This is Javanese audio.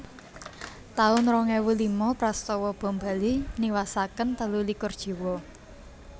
taun rong ewu lima Prastawa Bom Bali niwasaken telu likur jiwa